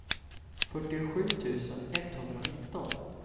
fyrtiosju tusen etthundranitton